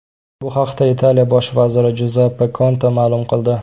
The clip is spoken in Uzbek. Bu haqda Italiya bosh vaziri Juzeppe Konte ma’lum qildi .